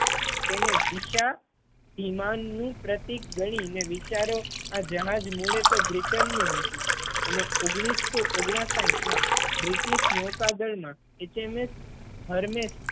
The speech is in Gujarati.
તેને દિશાધીમાન નું પ્રતિક ગણી ને વિચારો આ જહાજ મૂળે તો બ્રિટન નું હતું અને ઓગણીસો ઓગણસાહીઠ માં બ્રિટિશ નૌકાદળ માં HMS Hermes